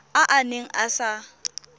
a a neng a sa